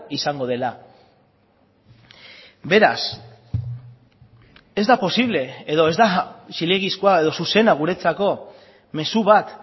izango dela beraz ez da posible edo ez da zilegizkoa edo zuzena guretzako mezu bat